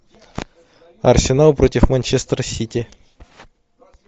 арсенал против манчестер сити